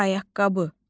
Ayaqqabı.